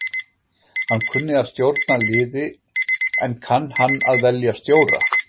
Hann kunni að stjórna liði en kann hann að velja stjóra?